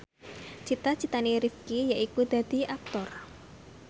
cita citane Rifqi yaiku dadi Aktor